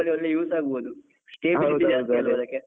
ಅದೆ trip ಅಲ್ಲಿ ಒಳ್ಳೆ use ಆಗ್ಬೋದು .